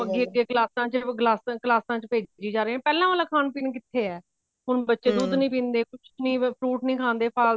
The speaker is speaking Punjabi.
ਅੱਗੇ ਅੱਗੇ ਕਲਾਸਾ ਚ ਕਲਾਸਾ ਚ ਕਲਾਸਾ ਚ ਭੇਜੀ ਜਾ ਰਹੇ ਨੇ ਪਹਿਲਾਂ ਵਾਲਾ ਖਾਣ ਪੀਣ ਕਿੱਥੇ ਐ ਹੁਣ ਬੱਚੇ ਦੁੱਧ ਨਹੀਂ ਪੀਂਦੇ ਕੁੱਛ ਨਹੀਂ fruit ਨਹੀਂ ਖਾਂਦੇ ਫਾਲਤੂ